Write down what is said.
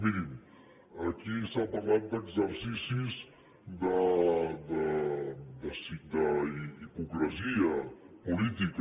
mirin aquí s’ha parlat d’exercicis d’hipocresia política